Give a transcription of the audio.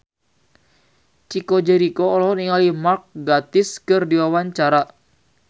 Chico Jericho olohok ningali Mark Gatiss keur diwawancara